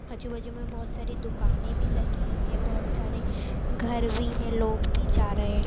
आजूबाजू मे बहुत सारी दुकाने भी लगी है बहुत सारे घर भी है लोग भी जा रहे।